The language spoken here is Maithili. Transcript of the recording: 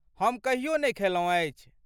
हम कहियो नहि खयलहुँ अछि।